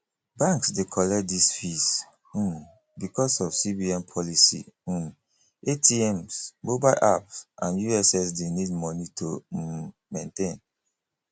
banks de collect these fees um because of cbn policy um atms mobile app and ussd need money to um maintain